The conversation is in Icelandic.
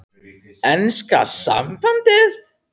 Enska sambandið?